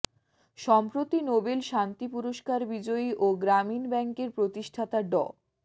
সম্প্রতি নোবেল শান্তি পুরস্কার বিজয়ী ও গ্রামীণ ব্যাংকের প্রতিষ্ঠাতা ড